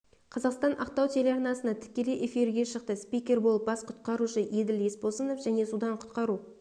қазақстан ақтау телеарнасына тікелей эфирге шықты спикер болып бас құтқарушы еділ есбосынов және судан құтқару